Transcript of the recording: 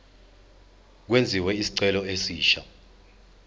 kwenziwe isicelo esisha